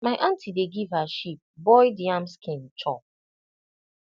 my aunty dey give her sheep boiled yam skin chop